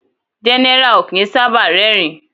General o kín sábà rerin